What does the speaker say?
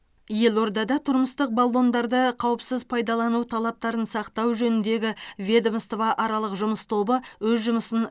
елордада тұрмыстық баллондарды қауіпсіз пайдалану талаптарын сақтау жөніндегі ведомствоаралық жұмыс тобы өз жұмысын